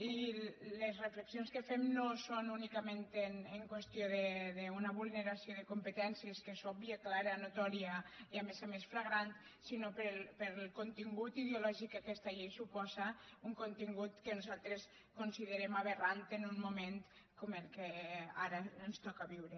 i les reflexions que fem no són únicament en qüestió d’una vulneració de competències que és òbvia clara notòria i a més a més flagrant sinó pel contingut ideo lògic que aquesta llei suposa un contingut que nosaltres considerem aberrant en un moment com el que ara ens toca viure